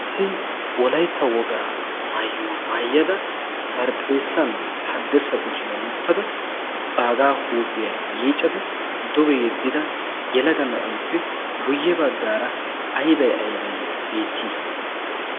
wolaytta wogaa maayyuwaa maayyada barxeessan haddirssa kushiyaa wottada baagaa huuphiyaa yiiccada duge yeddida yalaga na'aeppe guyye baggaara aybay aybay beettii?